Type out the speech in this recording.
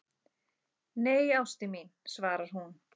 Nei, ástin mín, svarar hún.